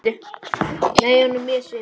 Nei, hún er mjög svipuð.